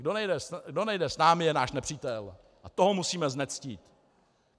Kdo nejde s námi, je náš nepřítel a toho musíme znectít.